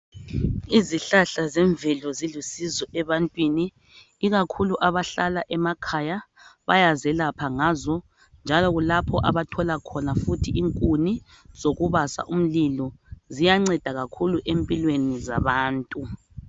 Izihlahla zemvelo zilusizo abantwini ikakhulu abahlala emakhaya bayazelapha ngazo njalo kulapho abathola khona inkuni zokubasa umlilo ziyanceda kakhulu empilweni zabantu.